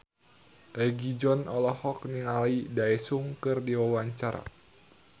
Egi John olohok ningali Daesung keur diwawancara